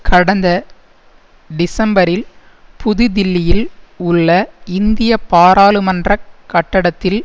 கடந்த டிசம்பரில் புதுதில்லியில் உள்ள இந்திய பாராளுமன்ற கட்டடத்தில்